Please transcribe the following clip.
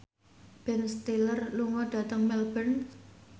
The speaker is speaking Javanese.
Ben Stiller lunga dhateng Melbourne